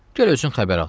Gəl özün xəbər al.